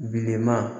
Bilenman